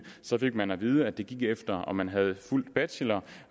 fik man at vide at det gik efter om man havde fuld bachelor